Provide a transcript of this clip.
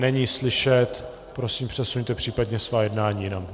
Není slyšet, prosím, přesuňte případně svá jednání jinam.